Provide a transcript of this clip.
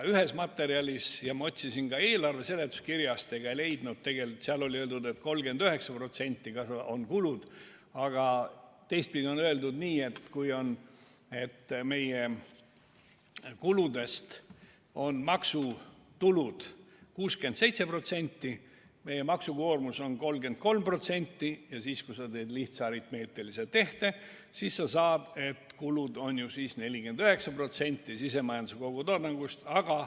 Ühes materjalis – ma otsisin ka eelarve seletuskirjast, aga ei leidnud – oli öeldud, et 39% on kulud, aga teistpidi on öeldud nii, et kui meie kuludest on maksutulud 67% ja meie maksukoormus on 33% ja kui teha lihtne aritmeetiline tehe, siis saadakse, et kulud on 49% sisemajanduse kogutoodangust.